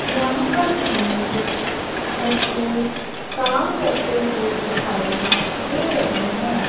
यहां पर हमें कुछ मजदूर काम करते हुए दिखाई दे रहें हैं।